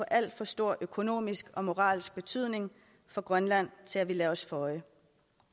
alt for stor økonomisk og moralsk betydning for grønland til at vi lader os føje